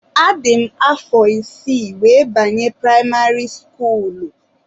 Adị m afọ isii wee banye primari skuulu